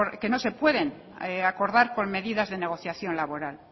que no se pueden acordar con medidas de negociación laboral